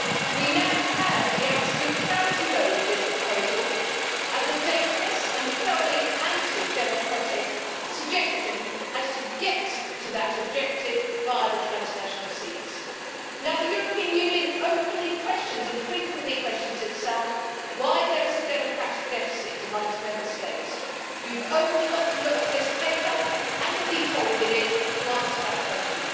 We now have absolute clarity, though, with this proposal and the dangerous and thoroughly anti democratic suggestion of getting to that objective via transnational seats. The European Union openly questions and frequently questions itself, asking why there is a democratic deficit among Member States. You've only got to look to this report and the detail within it to answer that question.